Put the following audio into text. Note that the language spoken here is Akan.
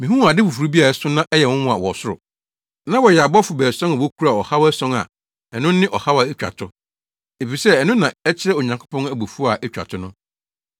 Mihuu ade foforo bi a ɛso na ɛyɛ nwonwa wɔ ɔsoro. Na wɔyɛ abɔfo baason a wokura ɔhaw ason a ɛno ne ɔhaw a etwa to, efisɛ ɛno na ɛkyerɛ Onyankopɔn abufuw a etwa to no.